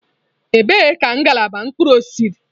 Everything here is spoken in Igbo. Ebee ka ngalaba mkpụrụ osisi dị?